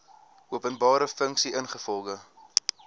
openbare funksie ingevolge